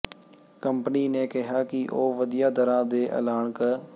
company ਨੇ ਕਿਹਾ ਕਿ ਉਹ ਵਧੀਆਂ ਦਰਾਂ ਦਾ ਐਲਾਨ ਕ